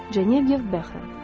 Janeyev Bəhram.